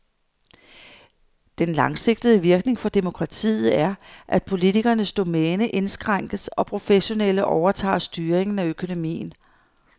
Den langsigtede virkning for demokratiet er, at politikernes domæne indskrænkes og professionelle overtager styringen af økonomien.